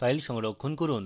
file সংরক্ষণ করুন